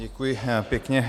Děkuji pěkně.